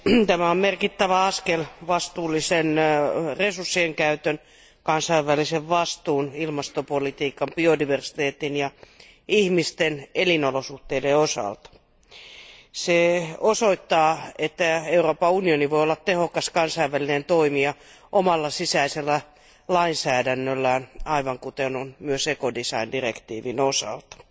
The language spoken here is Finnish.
Arvoisa puhemies, tämä on merkittävä askel vastuullisen resurssienkäytön, kansainvälisen vastuun, ilmastopolitiikan, biodiversiteetin ja ihmisten elinolosuhteiden osalta. Se osoittaa, että Euroopan unioni voi olla tehokas kansainvälinen toimija omalla sisäisellä lainsäädännöllään, aivan kuten myös direktiivi osaltaan.